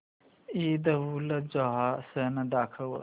ईदउलजुहा सण दाखव